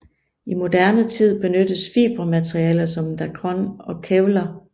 I moderne tid benyttes fibermaterialer som dacron og kevlar